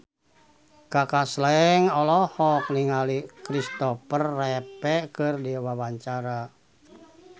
Kaka Slank olohok ningali Kristopher Reeve keur diwawancara